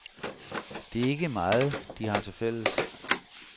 Det er ikke meget, de har til fælles.